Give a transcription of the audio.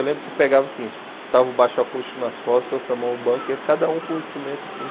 Eu lembro que pegava o seguinte, estava o baixo acústico nas costas, o sua mão o banco, e cada um com um instrumento assim.